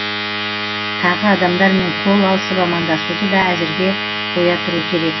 тағы адамдармен қол алысып амандасуды да әзірге қоя тұру керек